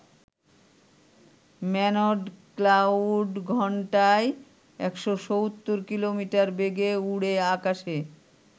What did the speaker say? Manned cloud ঘণ্টায় ১৭০ kilometre বেগে উড়ে আকাশে।